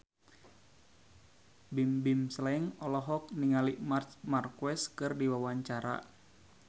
Bimbim Slank olohok ningali Marc Marquez keur diwawancara